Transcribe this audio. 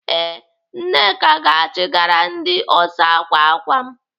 Ee, Nneka ga-achịgara ndị ọsa ákwà ákwà m.